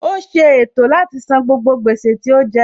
Ó ṣe ètò láti san gbogbo gbèsè tí ó jẹ